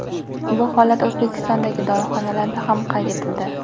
Bu holat O‘zbekistondagi dorixonalarda ham qayd etildi .